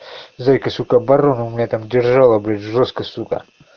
зайка сука оборону у меня там держала бля жёстко сука